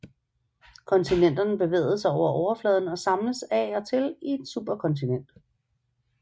Kontinenterne bevægede sig over overfladen og samledes af og til i et superkontinent